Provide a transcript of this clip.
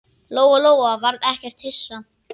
Lóa-Lóa varð ekkert hissa.